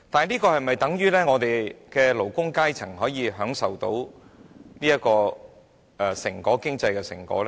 可是，這樣是否等於我們的勞工階層可以享受到經濟成果呢？